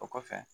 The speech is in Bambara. O kɔfɛ